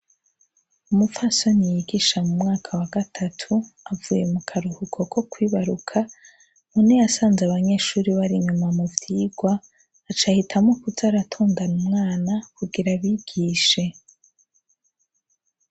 Umupfasoni yigisha mu mwaka wa gatatu, avuye mu karuhuko ko kwibaruka, none yasanze abanyeshure bari inyuma mu vyigwa, aca ahitamwo kuza aratondana umwana kugira abigishe.